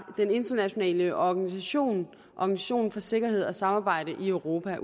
den internationale organisation organisationen for sikkerhed og samarbejde i europa